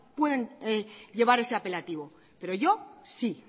pueden llevar ese apelativo pero yo sí